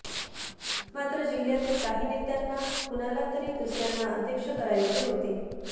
मात्र जिल्ह्यातील काही नेत्यांना कुणाला तरी दुसऱ्यांना अध्यक्ष करायचे होते